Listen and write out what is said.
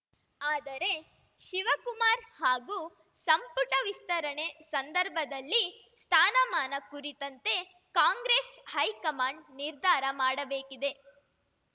ಆದರೆ ಶಿವಕುಮಾರ್‌ ಹಾಗೂ ಸಂಪುಟ ವಿಸ್ತರಣೆ ಸಂದರ್ಭದಲ್ಲಿ ಸ್ಥಾನಮಾನ ಕುರಿತಂತೆ ಕಾಂಗ್ರೆಸ್‌ ಹೈಕಮಾಂಡ್‌ ನಿರ್ಧಾರ ಮಾಡಬೇಕಿದೆ